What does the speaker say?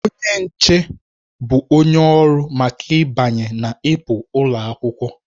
Onye nche bụ onye ọrụ maka ịbanye na ịpụ ụlọ akwụkwọ.